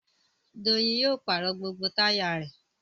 Doyin yóò pàrọ̀ gbogbo táyà rẹ̀